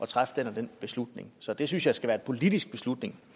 træffe den og den beslutning så det synes jeg skal være en politisk beslutning